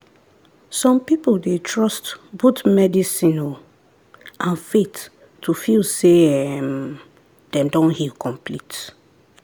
some people dey trust both medicine um and faith to feel say um dem don heal complete.